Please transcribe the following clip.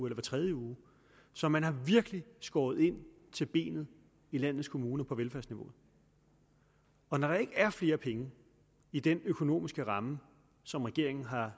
hver tredje uge så man har virkelig skåret ind til benet i landets kommuner på velfærdsniveauet og når der ikke er flere penge i den økonomiske ramme som regeringen har